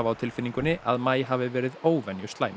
tilfinningunni að maí hafi verið